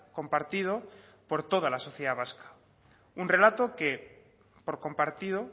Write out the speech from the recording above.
compartido por toda la sociedad vasca un relato que por compartido